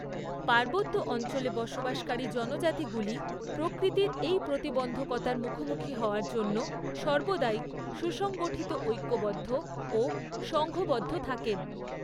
পার্বত্য অঞ্চলে বসবাসকারী জনজাতিগুলি প্রকৃতির এই প্রতিবন্ধকতার মুখোমুখি হওয়ার জন্য সর্বদাই সুসংগঠিত ঐক্যবদ্ধ ও সংঙ্ঘবন্ধ থাকেন।